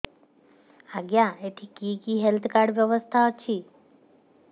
ଆଜ୍ଞା ଏଠି କି କି ହେଲ୍ଥ କାର୍ଡ ବ୍ୟବସ୍ଥା ଅଛି